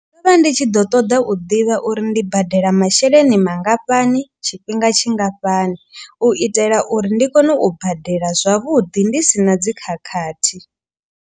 Ndo vha ndi tshi ḓo ṱoḓa u ḓivha uri ndi badela masheleni mangafhani. Tshifhinga tshingafhani u itela uri ndi kone u badela zwavhuḓi ndi si na dzi khakhathi.